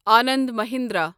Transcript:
Anand Mahindra